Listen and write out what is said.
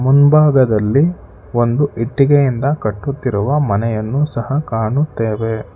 ಮುಂಭಾಗದಲ್ಲಿ ಒಂದು ಇಟ್ಟಿಗೆಯಿಂದ ಕಟ್ಟುತ್ತಿರುವ ಮನೆಯನ್ನು ಸಹಾ ಕಾಣುತ್ತೇವೆ.